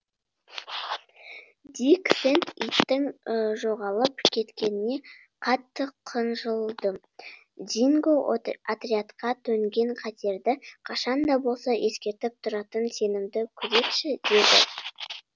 дик сэнд иттің жоғалып кеткеніне қатты қынжылды динго отрядқа төнген қатерді қашан да болса ескертіп тұратын сенімді күзетші еді